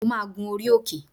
Mo máa gun orí òkè